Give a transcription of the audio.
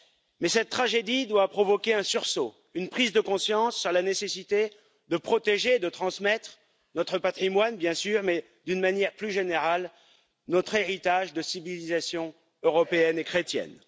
Mais cette tragédie doit provoquer un sursaut, une prise de conscience sur la nécessité de protéger, de transmettre notre patrimoine, bien sûr, mais, d'une manière plus générale, notre héritage de civilisation européenne et chrétienne.